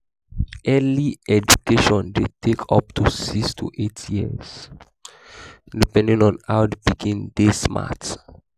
early education de take up to 6-8years depending on how the pikin de smart